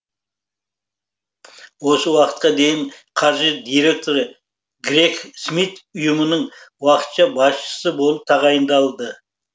осы уақытқа дейін қаржы директоры грег смит ұйымының уақытша басшысы болып тағайындалды